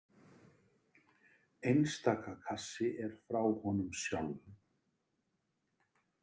Einstaka kassi er frá honum sjálfum.